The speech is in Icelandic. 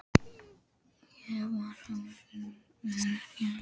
Ég var oft óánægður með rekstur hennar.